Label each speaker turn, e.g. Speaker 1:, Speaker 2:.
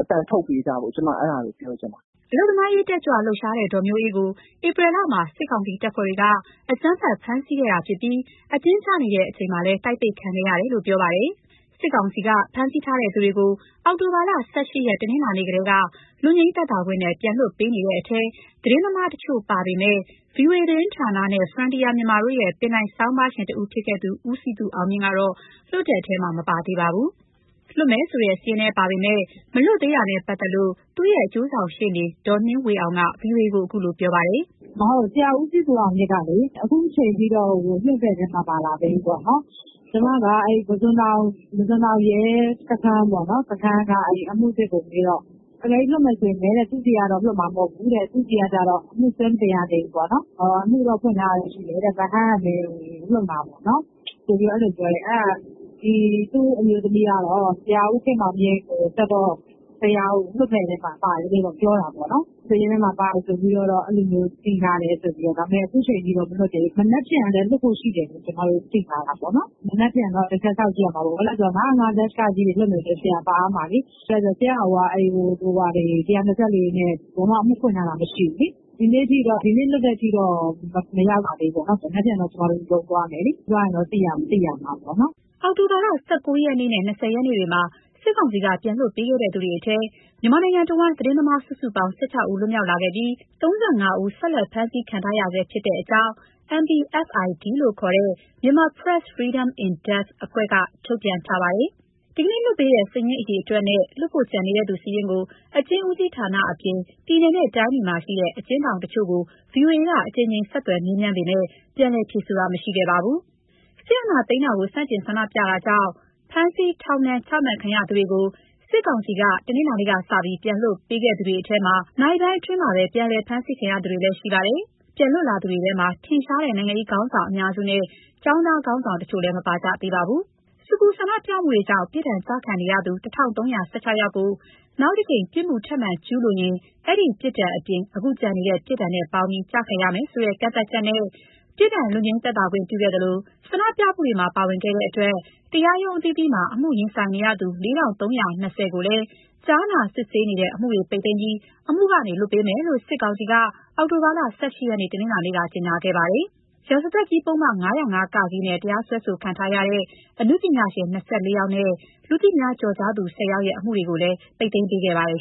Speaker 1: အသံထုတ်ပေးကြဖို့ ကျမ အဲဒါပဲ ပြောချင်တယ်
Speaker 2: ။” အလုပ်သမားအရေး တက်ကြွလှုပ်ရှားတဲ့ ဒေါ်မျိုးအေးကို ဧပြီလမှာ စစ်ကောင်စီတပ်ဖွဲ့တွေက အကြမ်းဖက် ဖမ်းဆီးခဲ့တာဖြစ်ပြီး အကျဉ်းကျနေစဉ်လည်း တိုက်ပိတ်ခံခဲ့ရတယ်လို့ ပြောပါတယ်။ စစ်ကောင်စီက ဖမ်းဆီးထားသူတွေကိုအောက်တိုဘာလ ၁၈ ရက် တနင်္လာနေ့ကတည်းက လွတ်ငြိမ်းသက်သာခွင့်နဲ့ပြန်လွှတ်ပေးနေတဲ့ထဲ သတင်းသမားတချို့ ပါခဲ့ပေမဲ့ VOA သတင်းဌာနနဲ့ Frontier Myanmar တို့ရဲ့ ပင်တိုင်ဆောင်းပါးရှင်တဦးဖြစ်ခဲ့သူ ဦးစည်သူအောင်မြင့်ကတော့ လွတ်တဲ့ထဲ မပါသေးပါဘူး။ လွှတ်မယ်ဆိုတဲ့စာရင်းထဲပါပေမယ့် မလွတ်လာသေးတာနဲ့ပတ်သက်လို့ သူ့ရဲ့ အကျိုးဆောင်ရှေ့နေ ဒေါ် နှင်းဝင်းအောင်က ဗွီအိုအေကို ခုလိုပြောပါတယ်။ “ဆရာဦးစည်သူအောင်မြင့်က ခုချိန်ထိလွတ်တဲ့အထဲ မ
Speaker 3: ပါလာသေးဘူးပေါ့လေ။ ကျမပုစွန်တောင် စခန်းကအမှုစစ်ကိုမေးတော့ အကယ်လို့လွတ်မယ်ဆိုလည်း သူ့ဆီကတော့ မလွတ်ဘူး။ သူ့ဆီက အမှုစွဲမတင်ရသေးဘူး။ လွတ်မယ်ဆိုလည်း ဗဟန်းကပဲ လွတ်မှာပေါ့။ အဲလိုပြောတယ်။ သူ့အမျိုးသမီး ကတော့ ဆရာဦးခင်မောင်မြင့်ကိုဆက်တော့ ဆရာလွတ်မယ့်ထဲပါတယ်ပြောတာပေါ့။ စာရင်းထဲပါ တယ်ဆိုတာမျိုး သိထားပေမယ့် ခုချိန်ထိမလွတ်သေးဘူး။ မနက်ဖြန်မှာလည်း လွတ်ဖို့ရှိတယ် သိထားတာပေါ့။ မနက်ဖြန်တချက်ကြည့်ရမယ်။ ၅၀၅-က တွေပါရင် ဆရာပါရမယ်လေ။ ဆရာ့ကိုက ၁၂၄ တို့ နဲ့ ဘယ်မှာမှ အမှုဖွင့်ထားတာမရှိဘူးလေ။ ဒီနေ့ထိတော့ မလွတ်သေးဘူးပေါ့။ မနက်ဖြန်တော့ ကျမတို့ ရုံးသွားမယ်။ သွားရင်တော့သိရမှာပ
Speaker 2: ေါ့နော်။ အောက်တိုဘာလ ၁၉ ရက်နေ့နဲ့ ၂၀ ရက်နေ့တွေမှာ စစ်ကောင်စီက ပြန်လွှတ်ပေးခဲ့သူတွေထဲ မြန်မာနိုင်ငံတဝန်း သတင်းသမား စုစုပေါင်း ၁၆ ဦး လွတ်မြောက်လာခဲ့ပြီး ၃၅ ဦး ဆက်လက် ဖမ်းဆီးခံထားရဆဲဖြစ်ကြောင်း MPFI-D လို့ခေါ်တဲ့ Myanmar Press Freedom In-depth အဖွဲ့က ထုတ်ပြန်ပါတယ်။ ဒီကနေ့လွှတ်ပေးတဲ့ စာရင်းအရေအတွက်နဲ့ လွှတ်ဖို့ကျန်သူစာရင်းကို အကျဉ်းဦးစီးဌာနအပြင် ပြည်နယ်နဲ့တိုင်းတွေမှာရှိတဲ့ အကျဉ်းထောင်တချို့ကို ဗွီအိုအေက အကြိမ်ကြိမ်ဆက်သွယ်မေးမြန်းပေမယ့် ပြန်လည်ဖြေဆိုတာမရှိခဲ့ပါဘူး။ စစ်အာဏာသိမ်းတာကို ဆန့်ကျင်ဆန္ဒပြတာကြောင့် ဖမ်းဆီး၊ ထောင်ဒဏ် ချမှတ်ခံရသူတွေကို စစ်ကောင်စီက တနင်္လာနေ့ကစပြီး ပြန်လွှတ်ပေးခဲ့သူတွေထဲ နာရီပိုင်းအတွင်းမှာပဲ ပြန်အဖမ်းခံရသူတွေလည်း ရှိပါတယ်။ ပြန်လွတ်လာသူတွေထဲမှာ ထင်ရှားတဲ့ နိုင်ငံရေးခေါင်းဆောင်အများစုနဲ့ ကျောင်းသားခေါင်းဆောင်တချို့လည်း မပါကြသေးပါဘူး။ ဆူပူဆန္ဒပြမှုတွေကြောင့် ပြစ်ဒဏ်ကျခံနေရသူ ၁,၃၁၆ ယောက်ကို နောက်တကြိမ် ပြစ်မှု ထပ်မံကျူးလွန်ရင် အဲဒီပြစ်ဒဏ်အပြင် ယခုကျန်ရှိတဲ့ ပြစ်ဒဏ်နဲ့ပေါင်းပြီး ကျခံရမယ်ဆိုတဲ့ ကန့်သတ်ချက်နဲ့ ပြစ်ဒဏ်လွတ်ငြိမ်းသက်သာခွင့်ပြုခဲ့သလို ဆန္ဒပြမှုတွေမှာ ပါဝင်ခဲ့တဲ့အတွက် တရားရုံးအသီးသီးမှာ အမှုရင် ဆိုင်နေရသူ ၄,၃၂၀ ဦးကိုလည်း ကြားနာစစ်ဆေးနေတဲ့ အမှုတွေပိတ်သိမ်းပြီး အမှုကနေ လွှတ်ပေးမယ်လို့ စစ်ကောင်စီက အောက်တိုဘာလ ၁၈ ရက် တနင်္လာနေ့က ကြေညာထားပါတယ်။ ရာဇသတ်ကြီးပုဒ်မ ၅၀၅ (က) နဲ့တရားစွဲခံထားရတဲ့ အနုပညာရှင် ၂၄ ယောက်နဲ့ လူသိများကျော်ကြားသူ ၁၀ ယောက
Speaker 3: ်ရဲ့ အမှုတွေကိုလည်း ပိတ်သိမ်းခဲ့ပါတယ်